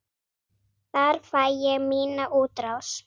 Þar fæ ég mína útrás.